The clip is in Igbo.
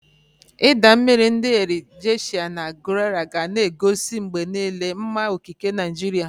Idaa mmiri ndi Erin Ijesha na Gurara ga na-egosi mgbe niile mma okike Naijiria.